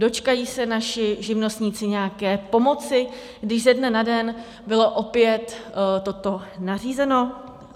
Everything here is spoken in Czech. Dočkají se naši živnostníci nějaké pomoci, když ze dne na den bylo opět toto nařízeno?